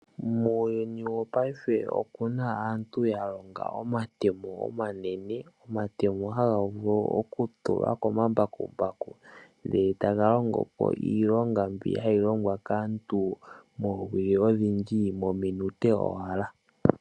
Muuyuni wo paife okuna aantu ya longa omatemo omanene. Omatemo haga vulu oku tulwa komambakumbaku nde etaga longopo iilonga mbyoka hayi longwa kaantu moowili odhindji mominute owala.